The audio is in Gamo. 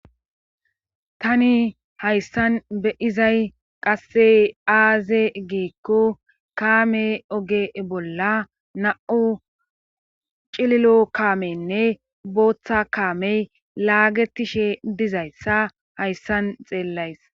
Tani hayssan beizay qasse aaze geekko kaame oge bolla na7u cililo kaamenne booththa kaamey laagetishe dizayssa hayssan xeellays